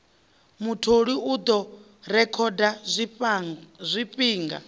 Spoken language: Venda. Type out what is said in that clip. mutholi u ḓo rekhoda zwifhinga